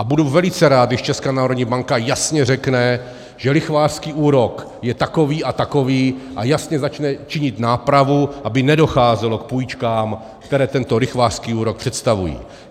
A budu velice rád, když Česká národní banka jasně řekne, že lichvářský úrok je takový a takový, a jasně začne činit nápravu, aby nedocházelo k půjčkám, které tento lichvářský úrok představují.